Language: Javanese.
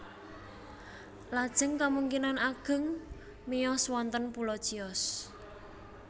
Lajeng kamungkinan ageng miyos wonten pulo Chios